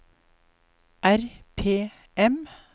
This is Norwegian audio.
RPM